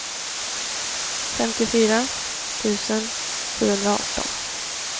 femtiofyra tusen sjuhundraarton